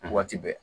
Waati bɛɛ